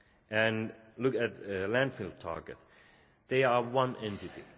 target and look at the landfill target, they are one entity.